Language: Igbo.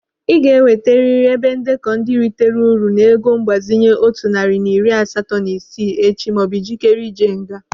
Ị ga-ewetarịrị ebe ndekọ ndị ritara uru n'ego mgbazinye dị otu narị na iri asatọ na isii echi maọbụ ijikere ije nga.